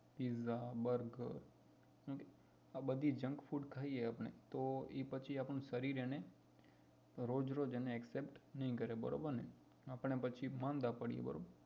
pizza burger એ બધી junk food ખાઈએ આપણે તો એ પછી આપે શરીર એને રોજ રોજ accept ના કરે બરોબર ને આપણે પછી માંદા પાડીએ બરોબર ને